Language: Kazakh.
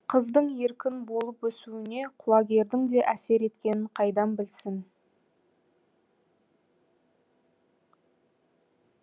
қыздың еркін болып өсуіне құлагердің де әсер еткенін қайдан білсін